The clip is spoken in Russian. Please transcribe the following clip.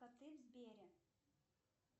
коты в сбере